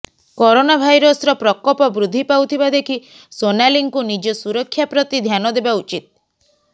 corona ଭାଇରସର ପ୍ରକୋପ ବୃଦ୍ଧି ପାଉଥିବା ଦେଖି ସୋନାଲିଙ୍କୁ ନିଜ ସୁରକ୍ଷା ପ୍ରତି ଧ୍ୟାନ ଦେବା ଉଚିତ୍